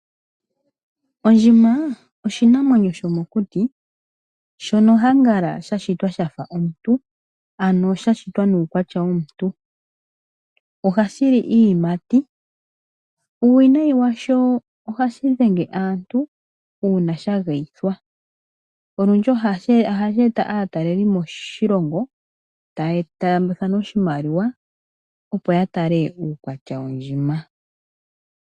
Ondjima oshinanwenyo shomokuti shono konyala shashitwa shafa omuntu ano sha shitwa nuukwatya womuntu. Ohashi li iiyimati, puuwinayi washo ohashi dhenge aantu uuna sha geyithwa. Ohashi eta aatalelipo moshilongo taya taambathana oshimaliwa, opo yatale uukwatya wondjima.